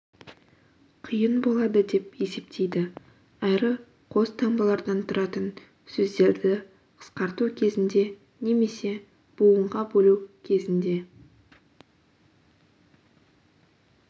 қиын болады деп есептейді әрі қос таңбалардан тұратын сөздерді қысқарту кезінде немесе буынға бөлу кезінде